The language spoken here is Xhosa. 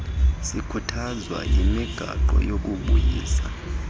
sikhuthazwa yimigaqo yokubusa